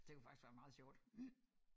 Det kunne faktisk være meget sjovt